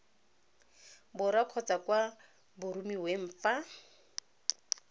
borwa kgotsa kwa boromiweng fa